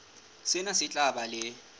sena se tla ba le